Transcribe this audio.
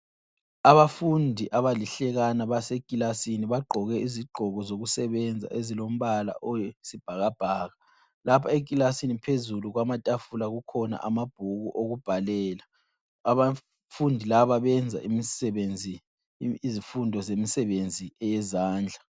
Abafundi abalihlekana basekilasini bagqoke izigqoko zokusebenza ezilombala oyisibhakabhaka . Lapha ekilasini phezulu kwamatafula kukhona amabhuku okubhalela, abafundi laba benza imisebenzi izifundo zemsebenzi eyezandla.